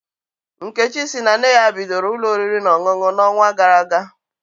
Nkechi si na nne ya bidoro ụlọ oriri na ọṅụṅụ n'ọnwa gara aga